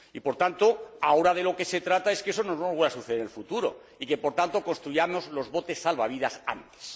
Y, por tanto, ahora de lo que se trata es de que eso no vuelva a suceder en el futuro y que, por tanto, construyamos los botes salvavidas antes.